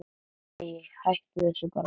Æi, hættu þessu bara.